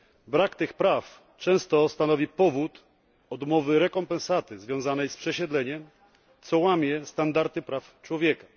Brak tych praw często stanowi powód odmowy rekompensaty związanej z przesiedleniem, co łamie standardy praw człowieka.